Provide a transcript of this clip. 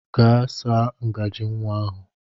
Gaa saa ngajị nwa ahụ!